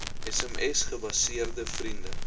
sms gebaseerde vriende